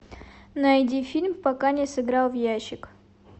найди фильм пока не сыграл в ящик